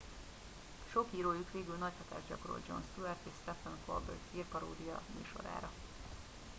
sok írójuk végül nagy hatást gyakorolt jon stewart és sephen colbert hírparódia műsorára